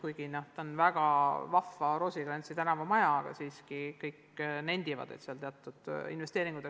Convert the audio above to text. Kuigi see on väga vahva Roosikrantsi tänava maja, nendivad siiski kõik, et seal oleks vaja teatud investeeringuid.